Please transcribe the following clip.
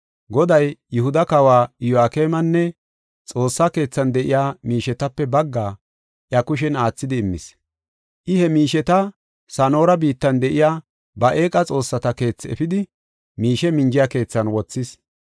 Goday Yihuda kawa Iyo7akemenne Xoossa keethan de7iya miishetape baggaa, iya kushen aathidi immis. I he miisheta Sana7oora biittan de7iya ba eeqa xoossata keethi efidi, miishe minjiya keethan wothis.